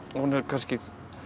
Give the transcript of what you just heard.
hún er kannski